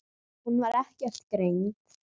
Hún var ekkert greind.